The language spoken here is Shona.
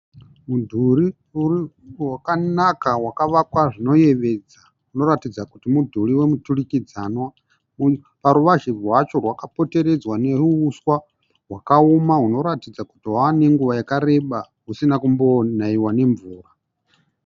Mudhurii wakanaka wakavakwa zvinoyevedza . Unoratidza kuti mudhiri wemuturikidzanwa. Paruvazhe rwacho rwakapoteredzwa neruuswa hwakaoma hunoratidza kuti hwa nenguva yakareba usina kunaiwa nemvura.